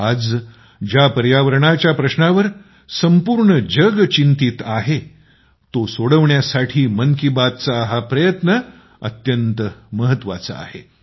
आज ज्या पर्यावरणाच्या प्रश्नावर संपूर्ण जग चिंतेत असताना तो सोडवण्यासाठी मन की बातचा हा प्रयत्न अत्यंत महत्त्वाचा आहे